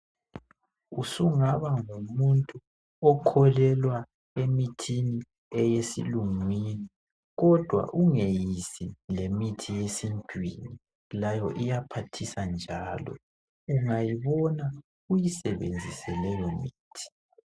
Usungaba ngumuntu okholelwa emithini eyesilungwini kodwa ungeyisi lemithi yesintwini layo iyaphathisa njalo. Ungayibona uyisebenzise leyo mithi.